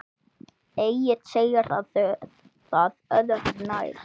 Egill segir það öðru nær.